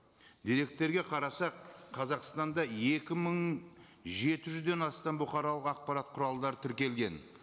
деректерге қарасақ қазақстанда екі мың жеті жүзден астам бұқаралық ақпарат құралдары тіркелген